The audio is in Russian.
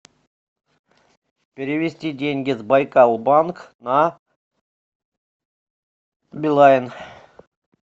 перевести деньги с байкал банк на билайн